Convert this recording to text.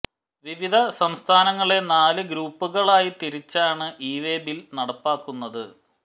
വിവിധ സംസ്ഥാനങ്ങളെ നാല് ഗ്രൂപ്പുകളായി തിരിച്ചാണ് ഇവേ ബിൽ നടപ്പാക്കുന്നത്